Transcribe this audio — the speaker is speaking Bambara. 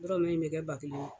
Dɔlu ye nɛgɛ ba kelen ye.